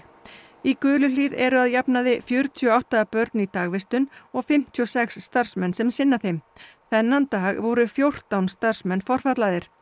í Guluhlíð eru að jafnaði fjörutíu og átta börn í dagvistun og fimmtíu og sex starfsmenn sem sinna þeim þennan dag voru fjórtán starfsmenn forfallaðir